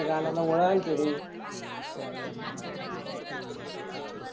हा काल तुल सांगत होत बाळा.